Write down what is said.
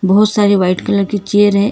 बहुत सारी white colour की चेयर है।